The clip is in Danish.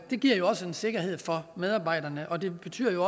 det giver jo også en sikkerhed for medarbejderne og det betyder